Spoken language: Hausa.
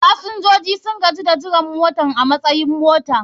fasinjoji sun gaji da jiran motan a matsayar motar.